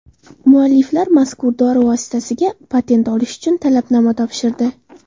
Mualliflar mazkur dori vositasiga patent olish uchun talabnoma topshirdi.